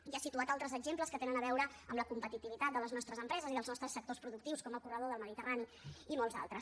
i ha situat altres exemples que tenen a veure amb la competitivitat de les nostres empreses i dels nostres sectors productius com el corredor del mediterrani i molts d’altres